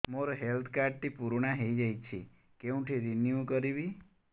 ମୋ health card ଟି ପୁରୁଣା ହେଇଯାଇଛି କେଉଁଠି ରିନିଉ କରିବି